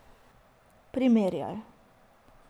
Primerjaj.